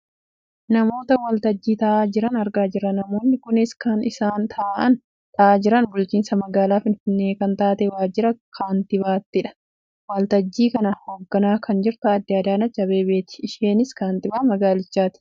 Namoota waltajjii taa'aa jiran argaa jirra . Namoonni kunis kan isaan taa'aa jiran bulchiinsa magaalaa finfinnee kan taate waajjira kaattibaattidha. Waltajjii kana hoogganaa kan jirtu Aadde Adanech Abeebeeti. Isheenis kaantibaa magaalichaati.